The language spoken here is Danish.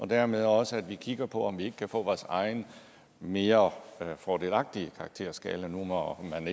dermed også kigger på om vi ikke kan få vores egen mere fordelagtige karakterskala når man